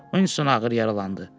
Uinston ağır yaralandı.